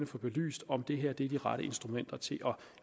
få belyst om det her er de rette instrumenter til at